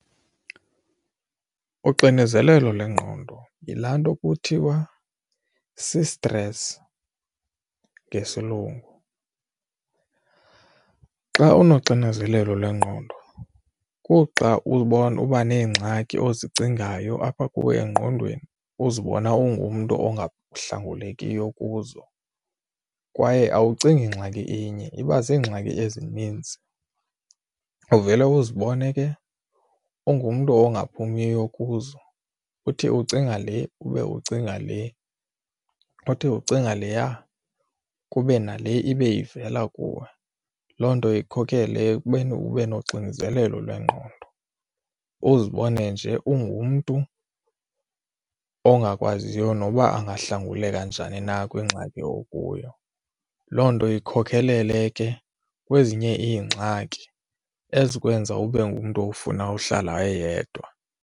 Uxinizelelo lwengqondo yilaa nto kuthiwa si-stress ngesilungu. Xa unoxinzelelo lwengqondo kuxa uba neengxaki ozicingayo apha kuwe engqondweni uzibona ungumntu ongahlangulekiyo kuzo kwaye awucingi ngxaki inye iba ziingxaki ezinintsi. Uvele uzibone ke ungumntu ongaphumiyo kuzo uthi ucinga le ube ucinga le, uthi ucinga leya kube nale ibe ivela kuwe. Loo nto ikhokele ekubeni ube noxinzelelo lwengqondo uzibone nje ungumntu ongakwaziyo noba angahlanguleka njani na kwingxaki okuyo. Loo nto ikhokelele ke kwezinye iingxaki ezikwenza ube ngumntu ofuna uhlala eyedwa.